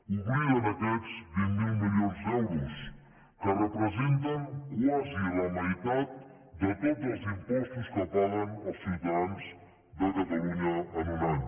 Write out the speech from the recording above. obliden aquests vint miler milions d’euros que representen quasi la meitat de tots els impostos que paguen els ciutadans de catalunya en un any